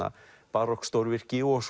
barokkstórvirki og